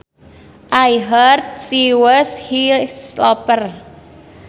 I heard she was his lover